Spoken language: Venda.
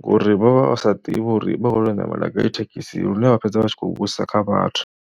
ngori vha vha sa ḓivhi uri vha khou tea u ṋamela gai thekhisi lune vha fhedza vha tshi khou vhudzisa kha vhathu.